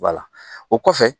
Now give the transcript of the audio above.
o kɔfɛ